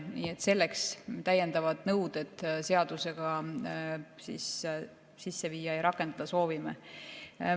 Nii et selleks me täiendavaid nõudeid seadusega sisse viia ja rakendada soovimegi.